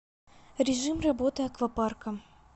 режим работы аквапарка